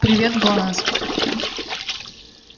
привет гланас